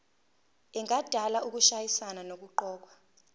engadala ukushayisana nokuqokwa